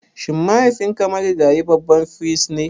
Shin mahaifinka marigayi babban firist ne?